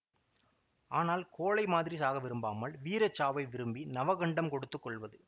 ஆனால் கோழை மாதிரி சாக விரும்பாமல் வீரச்சாவை விரும்பி நவகண்டம் கொடுத்து கொள்வது